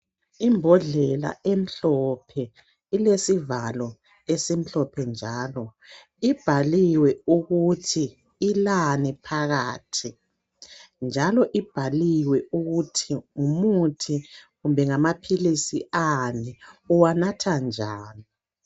Imbodlela emhlophe ilesivalo esimhlophe njalo ibhaliwe ukuthi ilani phakathi njalo ibhaliwe ukuthi ngumuthi kumbe ngamaphilisi ani, uwanatha njani.